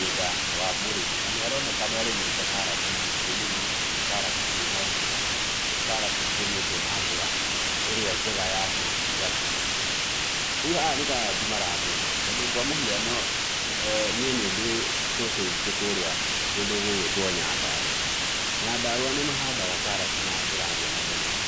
Mũgũnda wa mũrĩmi na nĩ aroneka nĩ arĩmĩte karati nyingĩ mũno na nĩ karati ci na riri. Nĩ karati cirĩmĩtwo na njĩra ĩrĩa njega ya kĩngiricaga. Rĩu haha nĩ karati maramunya, tondũ kwa mũhiano niĩ nĩ ndĩ cũcũ witũ kũrĩa kũndũ gũgwĩtwo Nyandarũa. Nyandarũa nĩ mahandaga karati na njĩra nene mũno